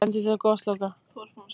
Ekkert bendi til gosloka.